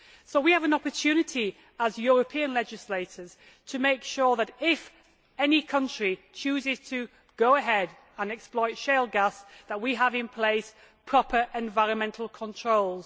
We have an opportunity as European legislators to make sure that if any country chooses to go ahead and exploit shale gas, we have in place proper environmental controls.